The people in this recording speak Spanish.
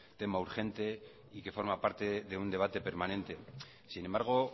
tema urgente y que forma parte de un debate permanente sin embargo